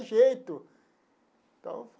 Jeito então.